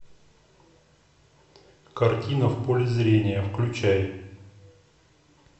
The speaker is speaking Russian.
картина в поле зрения включай